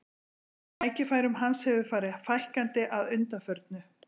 Tækifærum hans hefur farið fækkandi að undanförnu.